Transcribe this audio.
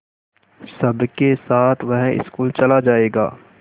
सबके साथ वह स्कूल चला जायेगा